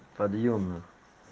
подъёмных